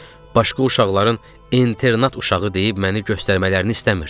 Başqa uşaqların internat uşağı deyib məni göstərmələrini istəmirdim.